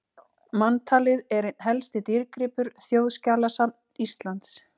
Manntalið er einn helsti dýrgripur Þjóðskjalasafns Íslands.